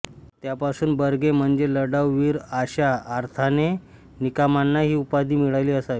त्यापासून बर्गे म्हणजे लढाऊ वीर आशा अर्थाने निकमांना ही उपाधि मिळाली असावी